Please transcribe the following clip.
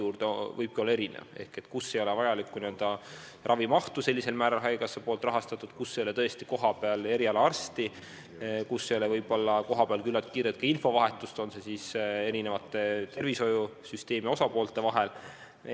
Kus ei ole arsti juurde pääsemiseks vajalikku ravimahtu haigekassa poolt rahastatud, kus ei ole kohapeal eriarsti, kus ei ole küllalt kiiret infovahetust tervishoiusüsteemi erinevate osapoolte vahel.